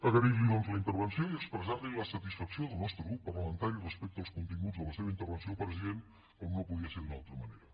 agrair li doncs la intervenció i expressar li la satisfacció del nostre grup parlamentari respecte als continguts de la seva intervenció president com no podia ser d’una altra manera